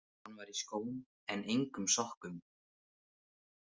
Hann var í skóm en engum sokkum.